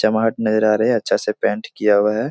अच्छा से पेंट किया हुआ है।